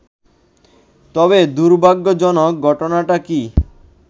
তবে দুর্ভাগ্যজনক ঘটনাটা কী